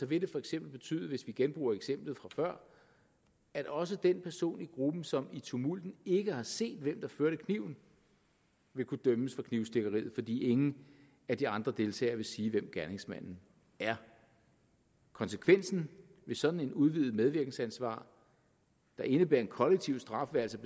vil det for eksempel betyde hvis vi genbruger eksemplet fra før at også den person i gruppen som i tumulten ikke har set hvem der førte kniven vil kunne dømmes for knivstikkeriet fordi ingen af de andre deltagere vil sige hvem gerningsmanden er konsekvensen af sådan et udvidet medvirkensansvar der indebærer en kollektiv straf er altså